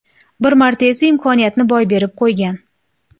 Bir marta esa imkoniyatni boy berib qo‘ygan.